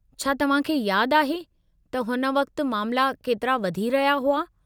छा तव्हांखे यादि आहे , त हुन वक़्त मामला केतिरा वधी रहिया हुआ।